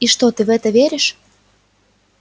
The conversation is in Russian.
и что ты в это веришь